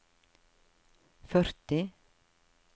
førti